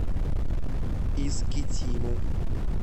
искитиму